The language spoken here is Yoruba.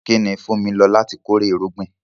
Kí ni Funmi lò láti kórè irúgbìn?